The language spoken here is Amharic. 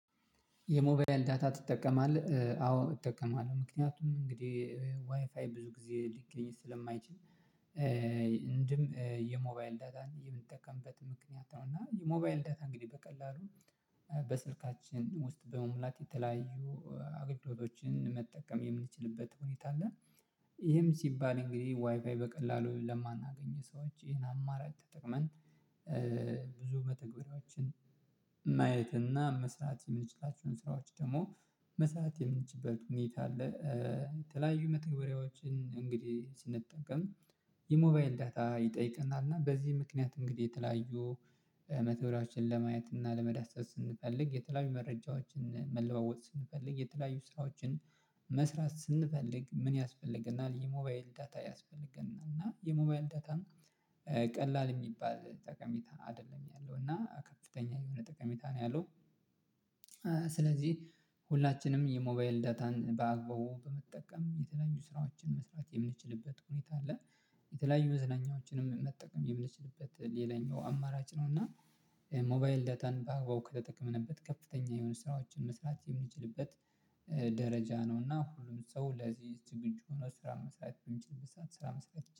የሞባይል ዳታ ትጠቀማለህ አዎ እጠቀማለሁ ምክንያቱም እንግዲህ ዋይፋይ ብዙ ጊዜ ሊገኝ ስለማይችል። እንደም የሞባይል ዳታን የምንጠቀምበት ምክንያት ነው እና የሞባይል ዳታ እንግዲህ በቀላሉ በስልካችን ውስጥ በመሙላት የተለያዩ አገልግሎቶችን መጠቀም የምንችልበት ሁኔታ አለ። ይሄም ሲባል እንግዲህ ዋይፋይ በቀላሉ ለማናገኝ ሰዎች ይሄን አማራጭ ተጠቅመን ብዙ መተግበሪያዎችን ማየት እና መስራት የምንችላቸውን ስራዎች ደግሞ መስራት የምንችልበት ሁኔታ አለ። የተለያዩ መተግበሪያዎችን እንግዲህ ስንጠቀም የሞባይል ዳታ ይጠይቀናል። እና በዚህ ምክንያት እንግዲህ የተለያዩ መተግበሪዎችንን ለማየት እና ለመዳሰስ ስንፈልግ የተለያዩ መረጃዎችን መለዋወጥ ስንፈልግ የተለያዩ ስራዎችን መስራት ስንፈልግ ምን ያስፈልገናል የሞባይል ዳታ ያስፈልገናል? እና የሞባይል ዳታን ቀላል የሚባል ጠቀሜታ አይደለም ያለው እና ከፍተኛ የሆነ ጠቀሜታ ነው ያለው። ስለዚህ ሁላችንም የሞባይል ዳታን በአግባቡ በመጠቀም የተለያዩ ስራዎችን መስራት የምንችልበት ሁኔታ አለ። የተለያዩ መዝናኛዎችንም መጠቀም የምንችልበት ሌላኛው አማራጭ ነው። እና ሞባይል ዳታን በአግባቡ ከተጠቀመንበት ከፍተኛ የሆኑ ስራዎችን መስራት የምንችልበት ደረጃ ነው እና ሁሉም ሰው ለዚህ ዝግጁ ሆኖ ስራ መስራት በምንችልበት ሰዓት ስራ መስራት